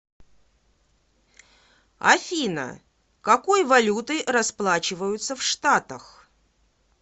афина какой валютой расплачиваются в штатах